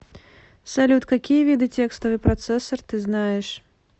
салют какие виды текстовый процессор ты знаешь